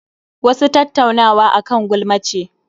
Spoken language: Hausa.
Wasu Tattaunawa akan gulma ce